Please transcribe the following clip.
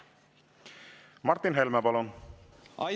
Martin Helme, palun!